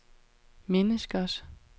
menneskers